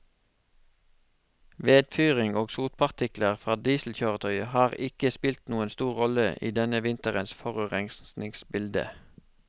Vedfyring og sotpartikler fra dieselkjøretøyer har ikke spilt noen stor rolle i denne vinterens forurensningsbilde.